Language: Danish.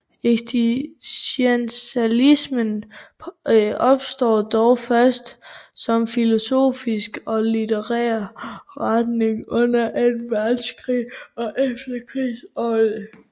Eksistentialismen opstår dog først som filosofisk og litterær retning under Anden Verdenskrig og i efterkrigsårene